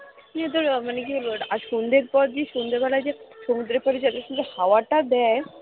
কি এদের কি বলবো এটা আজকে সন্ধ্যের পর সন্ধ্যেবেলায় সমুদ্রের পাড়ে যে হাওয়াটা দেয়